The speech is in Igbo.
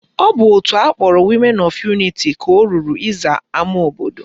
Ọ bụ òtù akpọrọ Women of Unity ka o ruru ịza ama obodo